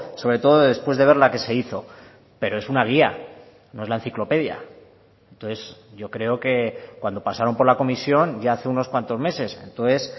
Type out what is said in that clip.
sobre todo después de ver la que se hizo pero es una guía no es la enciclopedia entonces yo creo que cuando pasaron por la comisión ya hace unos cuantos meses entonces